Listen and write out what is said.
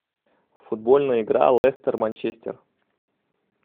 футбольная игра лестер манчестер